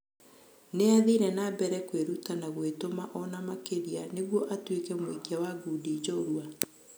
Nĩathire nambere kwĩruta na gũĩtũma ona makĩrĩa nĩguo atũĩke mũikia wa ngudi njorua.